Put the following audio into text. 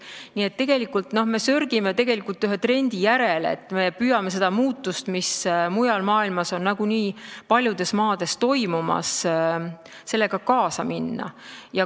Nii et me sörgime tegelikult ühe trendi järel, me püüame kaasa minna selle muutusega, mis on nagunii paljudes maades toimumas.